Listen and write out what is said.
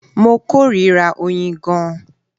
Mo kórìíra oyin gan-an